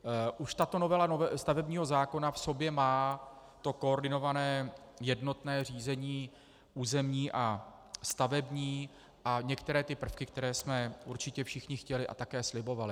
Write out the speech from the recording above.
Už tato novela stavebního zákona v sobě má to koordinované jednotné řízení územní a stavební a některé ty prvky, které jsme určitě všichni chtěli a také slibovali.